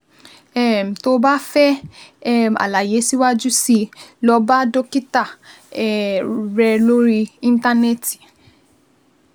um Tó o bá fẹ́ um àlàyé síwájú sí i, lọ bá dókítà um rẹ lórí Íńtánẹ́ẹ̀tì